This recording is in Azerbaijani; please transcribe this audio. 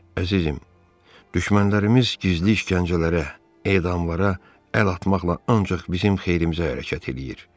Əzizim, düşmənlərimiz gizli işgəncələrə, edamlara əl atmaqla ancaq bizim xeyrimizə hərəkət eləyir.